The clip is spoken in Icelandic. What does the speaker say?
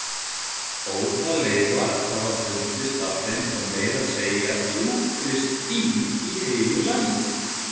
Ótal leifar hafa fundist af þeim og meira að segja djúpfryst dýr í heilu lagi.